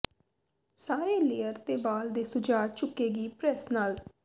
ਸਾਰੇ ਲੇਅਰ ਤੇ ਵਾਲ ਦੇ ਸੁਝਾਅ ਚੁੱਕੇਗੀ ਪ੍ਰੈੱਸ ਨਾਲ